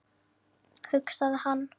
hugsaði hann.